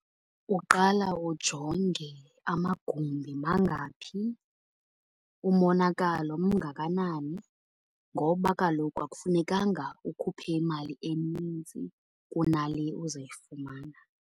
Uqala ujonge amagumbi mangaphi, umonakalo mngakanani. Ngoba kaloku akufunekanga ukhuphe imali enintsi kunale uzoyifumana.